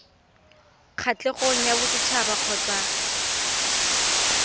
kgatlhegong ya boset haba kgotsa